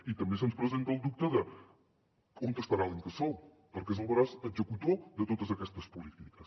i també se’ns presenta el dubte d’on estarà l’incasòl perquè és el braç executor de totes aquestes polítiques